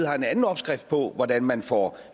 har en anden opskrift på hvordan man får